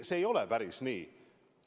See ei ole päris nii.